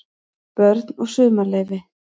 BÖRN OG SUMARLEYFI